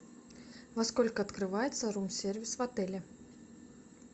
во сколько открывается рум сервис в отеле